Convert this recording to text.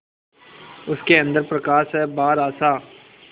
उसके अंदर प्रकाश है बाहर आशा